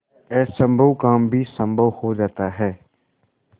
असम्भव काम भी संभव हो जाता है